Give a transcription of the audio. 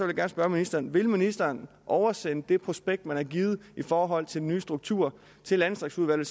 gerne spørge ministeren vil ministeren oversende det prospekt man har givet i forhold til den nye struktur til landdistriktsudvalget